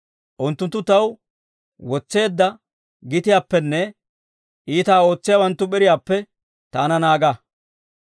Unttunttu taw wotseedda gitiyaappenne, iitaa ootsiyaawanttu p'iriyaappe taana naaga.